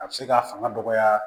A bɛ se k'a fanga dɔgɔya